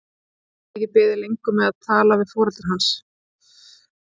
Ég get ekki beðið lengur með að tala við foreldra hans.